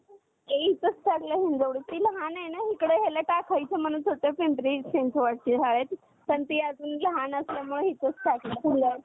आणि Nifty ची गणना त्याच्या मधील पन्नास Shares च्या संपूर्ण Capatilization केली जाते. त्याची रचना एकोणविसशे पंच्यान्नव मध्ये झाली होती आणि त्याचा base